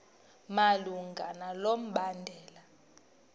malunga nalo mbandela